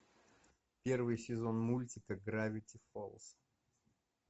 первый сезон мультика гравити фолз